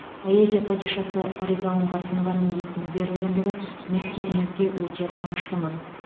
поэзия падишасы фариза оңғарсынованың есімі берілгендігі мектебімізге өте қуаныштымыз